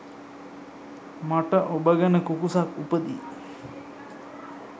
මට ඔබ ගැන කුකුසක් උපදී.